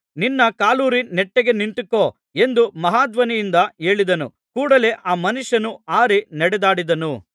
ನಿನ್ನ ಕಾಲೂರಿ ನೆಟ್ಟಗೆ ನಿಂತುಕೋ ಎಂದು ಮಹಾಧ್ವನಿಯಿಂದ ಹೇಳಿದನು ಕೂಡಲೆ ಆ ಮನುಷ್ಯನು ಹಾರಿ ನಡೆದಾಡಿದನು